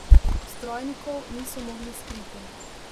Vztrajnikov niso mogli skriti.